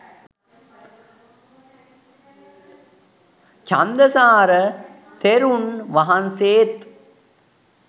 චන්දසාර තෙරුන් වහන්සේත්